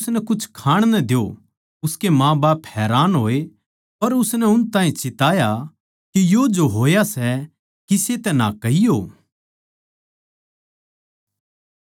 उसकै माँबाप हैरान होए पर उसनै उन ताहीं चिताया के यो जो होया सै किसे तै ना कहियो